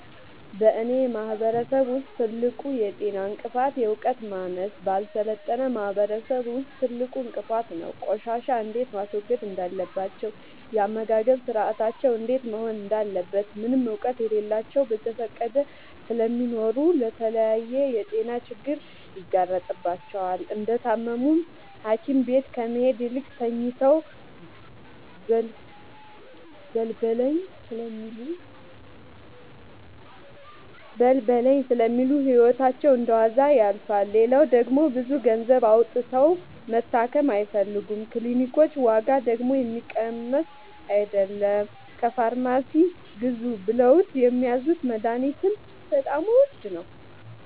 በእኔ ማህበረሰብ ውስጥ ትልቁ የጤና እንቅፍት የዕውቀት ማነስ በአልሰለጠነ ማህበረሰብ ውስጥ ትልቁ እንቅፋት ነው። ቆሻሻ እንዴት ማስወገድ እንዳለባቸው የአመጋገብ ስርአታቸው እንዴት መሆን እንዳለበት ምንም እውቀት የላቸውም በዘፈቀደ ስለሚኖሩ ለተለያየ የጤና ችግር ይጋረጥባቸዋል። እንደታመሙም ሀኪቤት ከመሄድ ይልቅ ተኝተው በልበለኝ ስለሚሉ ህይወታቸው እንደዋዛ ያልፋል። ሌላው ደግሞ ብዙ ገንዘብ አውጥተው መታከም አይፈልጉም ክኒልኮች ዋጋደግሞ የሚቀመስ አይለም። ከፋርማሲ ግዙ ብለውት የሚያዙት መደሀኒትም በጣም ውድ ነው።